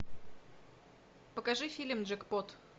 покажи фильм джекпот